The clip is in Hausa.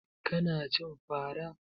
Ka na cin fara?